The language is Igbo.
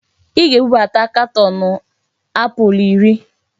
Ị ga-ebubata katọọnụ apụl iri!